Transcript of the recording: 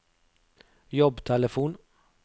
jobbtelefon